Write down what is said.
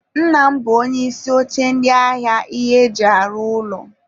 Nna m bụ onye isi oche ndi ahịa ihe e ji arụ ụlọ.